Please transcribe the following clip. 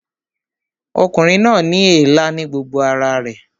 Ọkùnrin náà ní èélá ní gbogbo ara rẹ̀